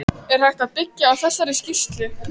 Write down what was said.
Er hægt að byggja á þessari skýrslu?